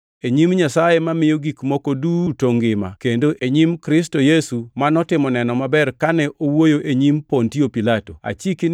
E nyim Nyasaye mamiyo gik moko duto ngima, kendo e nyim Kristo Yesu ma notimo neno maber kane owuoyo e nyim Pontio Pilato, achiki ni